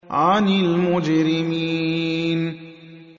عَنِ الْمُجْرِمِينَ